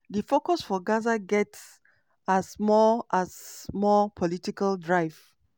di focus for gaza get has more has more political drive".